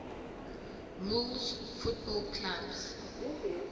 rules football clubs